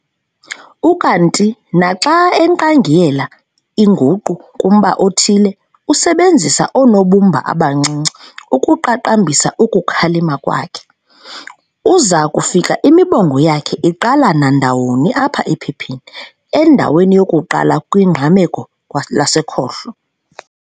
Ukanti naxa enkqangiyelela inguqu kumba othile, usebenzisa oonobumba abancinci ukuqaqambisa ukukhalima kwakhe. Uza kufika imibongo yakhe iqala nandawoni apha ephepheni, endaweni yokuqala kwingqameko lasekhohlo.